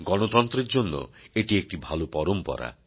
গণতন্ত্রের জন্য এটি একটি ভালো পরম্পরা